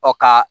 Ɔ ka